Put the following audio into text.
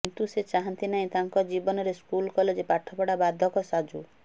କିନ୍ତୁ ସେ ଚାହାଁନ୍ତି ନାହିଁ ତାଙ୍କ ଜୀବନରେ ସ୍କୁଲ କଲେଜ ପାଠପଢା ବାଧକ ସାଜୁ